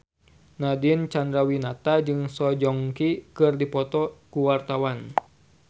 Nadine Chandrawinata jeung Song Joong Ki keur dipoto ku wartawan